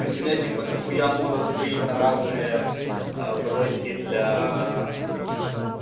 то есть у меня типо до хуям модов стоит на разные а бронники для м